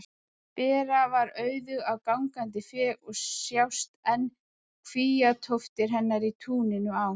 Bera var auðug af gangandi fé og sjást enn kvíatóftir hennar í túninu á